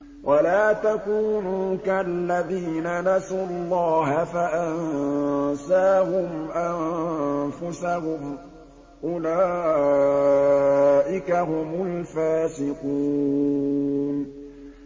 وَلَا تَكُونُوا كَالَّذِينَ نَسُوا اللَّهَ فَأَنسَاهُمْ أَنفُسَهُمْ ۚ أُولَٰئِكَ هُمُ الْفَاسِقُونَ